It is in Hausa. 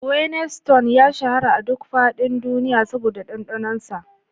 Guinness Stout ya shahara a duk faɗin duniya saboda ɗanɗanonsa.